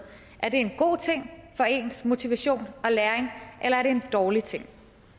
er det en god ting for ens motivation og læring eller er det en dårlig ting